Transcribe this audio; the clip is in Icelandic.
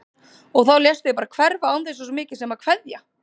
Og þá léstu þig bara hverfa án þess svo mikið sem að kveðja!